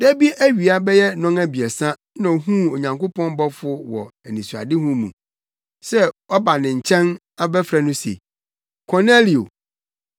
Da bi awia bɛyɛ nnɔnabiɛsa na ohuu Onyankopɔn bɔfo wɔ anisoadehu mu se waba ne nkyɛn abɛfrɛ no se, “Kornelio!”